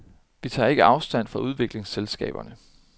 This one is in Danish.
Vi tager ikke afstand fra udviklingsselskaber.